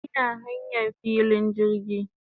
Ina hanyan filin jirgi